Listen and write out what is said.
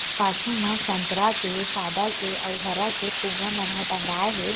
पाछु म संतरा के सादा के अउ हरा के फुग्गा मन टंगाये हे।